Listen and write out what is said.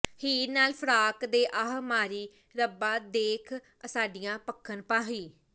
ਹੀਰ ਨਾਲ ਫਰਾਕ ਦੇ ਆਹ ਮਾਰੀ ਰੱਬਾ ਦੇਖ ਅਸਾਡੀਆਂ ਭਖਣ ਭਾਹੀਂ